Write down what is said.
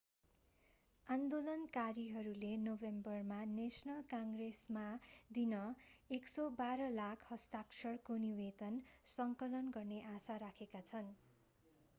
आन्दोलनकारीहरूले नोभेम्बरमा नेशनल काङ्ग्रेसमा दिन 112 लाख हस्ताक्षरको निवेदन सङ्कलन गर्ने आशा राखेका छन्